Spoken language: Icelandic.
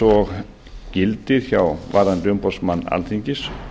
og gildir varðandi umboðsmann alþingis